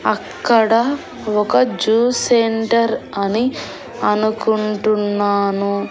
అక్కడ ఒక juice centre అని అనుకుంటున్నాను.